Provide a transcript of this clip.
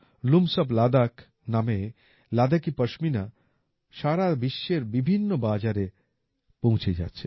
looms of Ladakh নামে লাদাকি পাশমিনা সারা বিশ্বের বিভিন্ন বাজারে পৌঁছে যাচ্ছে